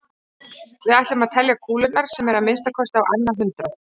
Við ætlum að telja kúlurnar sem eru að minnsta kosti á annað hundrað.